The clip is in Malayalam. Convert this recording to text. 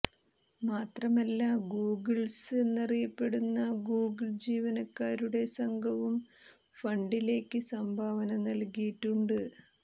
മാത്രമല്ല ഗൂഗിൾസ് എന്നറിയപ്പെടുന്ന ഗൂഗിൾ ജീവനക്കാരുടെ സംഘവും ഫണ്ടിലേക്ക് സംഭാവന നൽകിയിട്ടുണ്ട്